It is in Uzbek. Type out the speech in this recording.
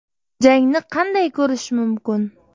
Jangni qanday ko‘rish mumkin?.